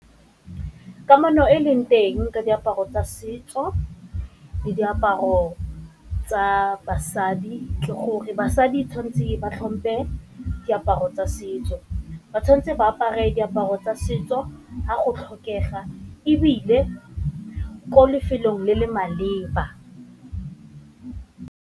Kamano e e leng teng ka diaparo tsa setso le diaparo tsa basadi ke gore basadi tshwantseng ba tlhompe diaparo tsa setso, ba tshwanetse ba apare diaparo tsa setso fa go tlhokega ebile ko lefelong le le maleba.